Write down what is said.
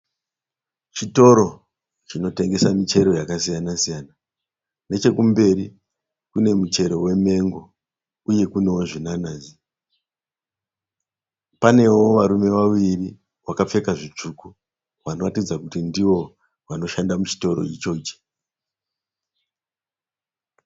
Chitoro chinotengesa michero yakasiyana siyana. Nechekumberi kune muchero wemengo uye kune zvinanazi. Panewo varume vaviri vakapfeka zvitsvuku vanoratidza kuti ndivo vanoshanda muchitoro ichochi.